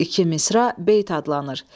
İki misra beyt adlanır.